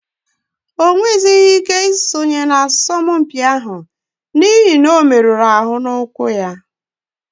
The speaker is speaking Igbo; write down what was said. O merụrụ ụkwụ ya ma ghara iwe ike isonye na asọmpi ahụ